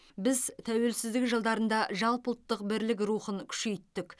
біз тәуелсіздік жылдарында жалпы ұлттық бірлік рухын күшейттік